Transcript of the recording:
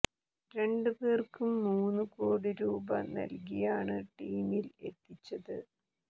രണ്ട് പേർക്കും മൂന്ന് കോടി രൂപ നൽകിയാണ് ടീമിൽ എത്തിച്ചത്